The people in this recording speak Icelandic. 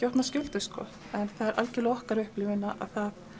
opna skjöldu en það er algerlega okkar upplifun að það